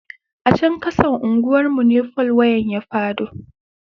A chan kasan unguwar mu ne fol wayan ya fado.